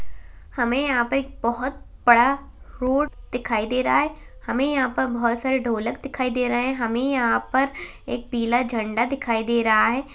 हमें यहाँ पर एक बोहोत बड़ा रोड दिखाई दे रहा है। हमें यहाँ पर बोहोत सारे ढोलक दिखाई दे रहे हैं। हमें यहाँ पर एक पीला झण्डा दिखाई दे रहा है।